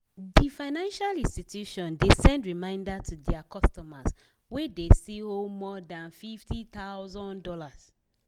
d financial institution de send reminder to their customers wey de still owe more than fifty thousand dollars